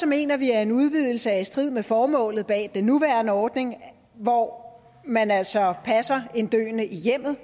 mener vi at en udvidelse er i strid med formålet bag den nuværende ordning hvor man altså passer en døende i hjemmet